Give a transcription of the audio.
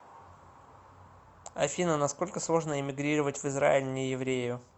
афина насколько сложно иммигрировать в израиль нееврею